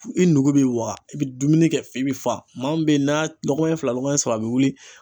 I nugu b'i waga i bɛ dumuni kɛ f'i bɛ fa, maa min bɛ n'a lɔgɔmanya fila lɔgɔmaya saba a bɛ wuli.